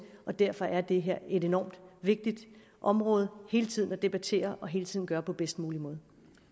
og derfor er det her et enormt vigtigt område hele tiden at debattere og hele tiden gøre på bedst mulig måde